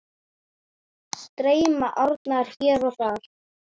Streyma árnar hér og þar.